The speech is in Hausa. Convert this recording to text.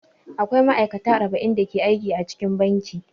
Akwai ma'aikata arba'in da ke aiki cikin banki.